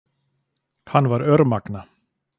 Hann var örmagna.